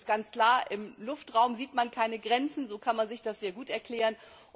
Denn es ist ganz klar, im Luftraum sieht man keine Grenzen, so kann man sich das gut erklären.